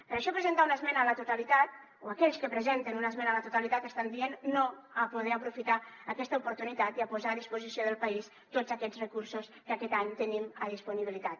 per això presentar una esmena a la totalitat o aquells que presenten una esmena a la totalitat estan dient no a poder aprofitar aquesta oportunitat i a posar a disposició del país tots aquests recursos que aquest any tenim a disponibilitat